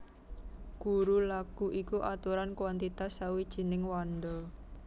Guru laghu iku aturan kwantitas sawijining wanda